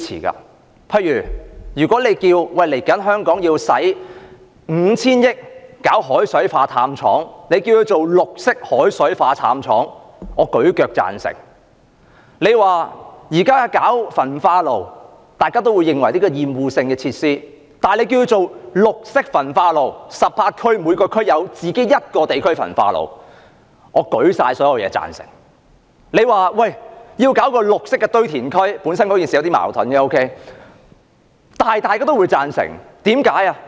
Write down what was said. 例如政府說香港未來要花 5,000 億元興建海水化淡廠，稱之為"綠色海水化淡廠"，我舉腳贊成；假如政府說要興建焚化爐，雖然大家也會認為是厭惡性設施，但如果稱之為"綠色焚化爐"，在18區興建各自的焚化爐，我舉起所有東西來贊成；假如政府說要興建"綠色堆填區"——雖然事情本身有點矛盾——但大家也會贊成，為甚麼？